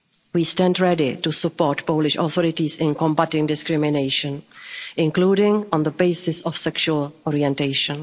We stand ready to support the Polish authorities in combating discrimination, including on the basis of sexual orientation.